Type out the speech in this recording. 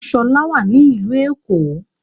Ṣọlá wà ní ìlú Èkó